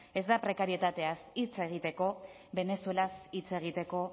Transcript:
ez da prekarietateaz hitz egiteko venezuelaz hitz egiteko